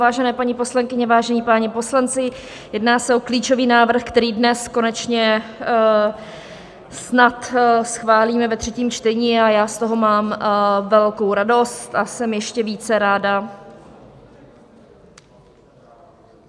Vážené paní poslankyně, vážení páni poslanci, jedná se o klíčový návrh, který dnes konečně snad schválíme ve třetím čtení, a já z toho mám velkou radost, a jsem ještě více ráda...